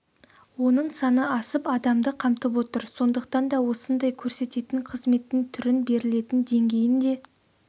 оның саны асып адамды қамтып отыр сондықтан да осындай көрсететін қызметтің түрін берілетін деңгейін де